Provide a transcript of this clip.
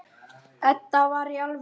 Edda, í alvöru.